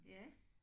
Ja